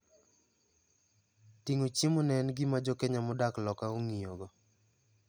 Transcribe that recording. Tingo chiemo ne en gima jokenya modak loka ongiyo go.